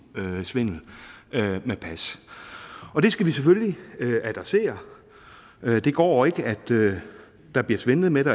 svindel med pas og det skal vi selvfølgelig adressere det går ikke at der bliver svindlet med det